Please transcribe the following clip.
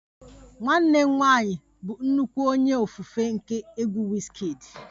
Nwanne m nwanyị bụ nnukwu onye ofufe nke egwu Wizkid